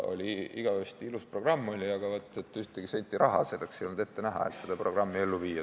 Igavesti ilus programm oli, aga ühtegi senti raha ei olnud ette nähtud, et seda programmi ellu viia.